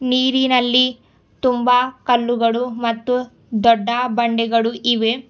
ನೀರಿನಲ್ಲಿ ತುಂಬ ಕಲ್ಲುಗಡು ಮತ್ತು ದೊಡ್ಡ ಬಂದೇಗಡು ಇವೆ.